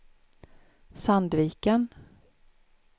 Sandviken